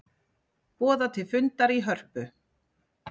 Boða til fundar í Hörpu